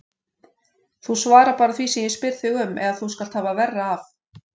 Þú svarar bara því sem ég spyr þig um eða þú skalt hafa verra af.